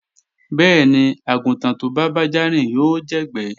Bẹ́ẹ̀ni, àgùntàn tó bá bájá rìn yóò jẹ̀gbẹ́